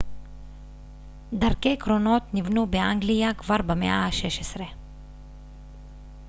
דרכי קרונות נבנו באנגליה כבר במאה ה-16